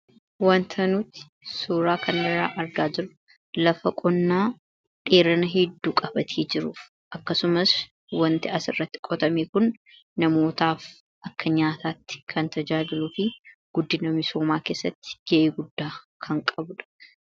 wantanuuti suuraa kandaraa argaa jiru lafa qonnaa dheerana hedduu qabatii jiruuf akkasumas wanti as irratti qotamee kun namootaaf akka nyaataatti kan tajaaliluu fi guddina misoomaa keessatti ge'ee guddaa kan qabudha